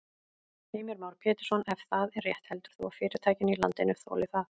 Heimir Már Pétursson: Ef það er rétt heldur þú að fyrirtækin í landinu þoli það?